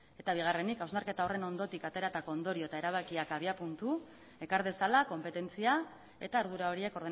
eta bigarrenik hausnarketa horren ondotik ateratako ondorio eta erabakiak abiapuntu ekar dezala konpetentzia eta ardura horiek